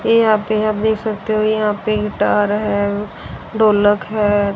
ये यहां पे आप देख सकते हो यहां पे गिटार है ढोलक है।